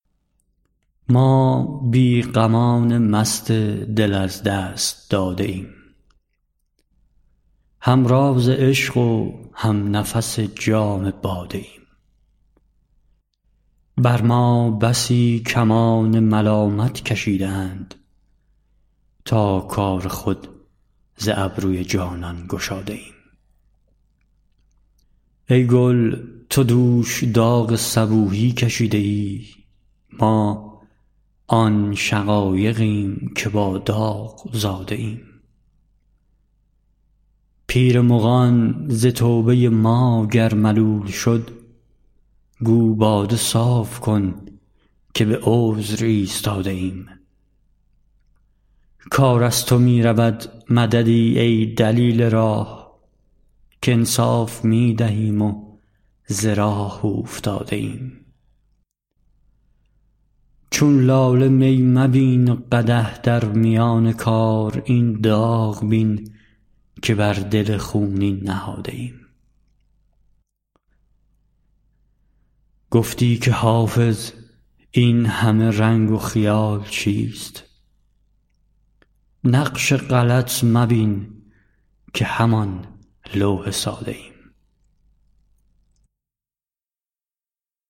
ما بی غمان مست دل از دست داده ایم هم راز عشق و هم نفس جام باده ایم بر ما بسی کمان ملامت کشیده اند تا کار خود ز ابروی جانان گشاده ایم ای گل تو دوش داغ صبوحی کشیده ای ما آن شقایقیم که با داغ زاده ایم پیر مغان ز توبه ما گر ملول شد گو باده صاف کن که به عذر ایستاده ایم کار از تو می رود مددی ای دلیل راه کانصاف می دهیم و ز راه اوفتاده ایم چون لاله می مبین و قدح در میان کار این داغ بین که بر دل خونین نهاده ایم گفتی که حافظ این همه رنگ و خیال چیست نقش غلط مبین که همان لوح ساده ایم